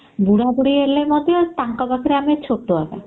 ବୁଢା ବୁଢ଼ୀ ହେଲେ ମଧ୍ୟ ତାଙ୍କ ପାଖରେ ଆମେ ଛୋଟ